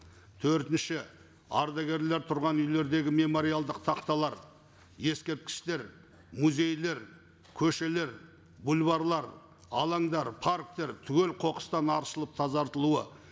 төртінші ардагерлер тұрған үйлердегі мемориалдық тақталар ескерткіштер музейлер көшелер бульварлар алаңдар парктер түгелі қоқыстан аршылып тазартылуы